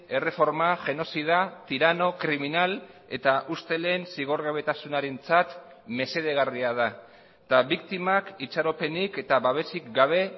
erreforma genozida tirano kriminal eta ustelen zigorgabetasunarentzat mesedegarria da eta biktimak itxaropenik eta babesik gabe